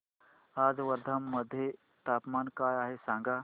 आज वर्धा मध्ये तापमान काय आहे सांगा